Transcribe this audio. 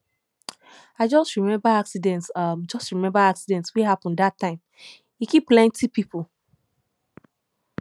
i just remember accident just remember accident wey happen dat time e kill plenty pipu